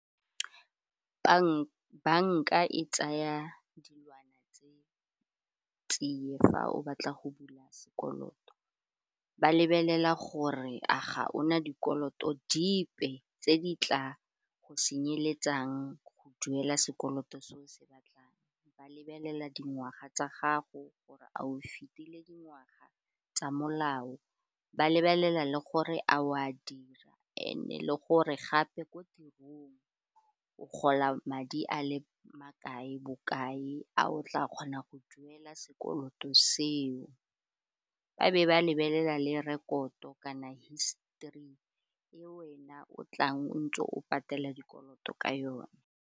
Banka e tsaya dilwana tse fa o batla go bula sekoloto, ba lebelela gore a ga ona dikoloto dipe tse di tla go senyeletsang go duela sekoloto se o se batlang, ba lebelela dingwaga tsa gago gore a o fetile dingwaga tsa molao, ba lebelela le gore a o a dira and-e le gore gape ko tirong o gola madi a le makae bokae, a o tla kgona go duela sekoloto seo, ba be ba lebelela le rekoto kana histori e wena o tlang o ntse o patelela dikoloto ka yone.